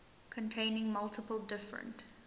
containing multiple different